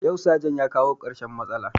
Yau sajan ya kawo karshen matsalar